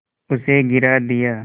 उसे गिरा दिया